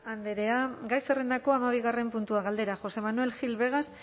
andrea gai zerrendako hamabigarren puntua galdera josé manuel gil vegas